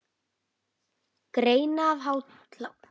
Grenja af hlátri.